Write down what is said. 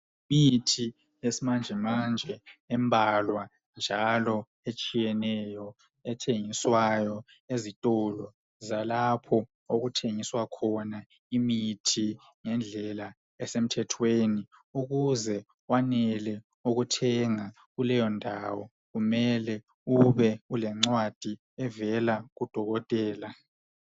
Yimithi yesimanje manje embalwa njalo etshiyeneyo ethengiswayo ezitolo zalapho okuthengiswa khona imithi ngendlela esemthethweni. Ukuze kwanele ukuthenga kuleyo ndawo kumele ube lencwadi evela kudokotela.